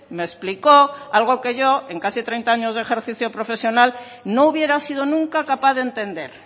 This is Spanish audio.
me explicó algo que yo en casi treinta años de ejercicio profesional no hubiera sido nunca capaz de entender